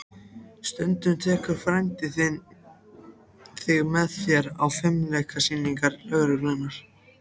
Stundum tekur frændi þinn þig með sér á fimleikasýningar lögreglunnar.